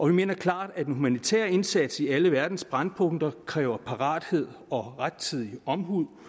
vi mener klart at en humanitær indsats i alle verdens brændpunkter kræver parathed og rettidig omhu